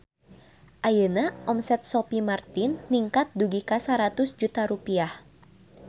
Ayeuna omset Sophie Martin ningkat dugi ka 100 juta rupiah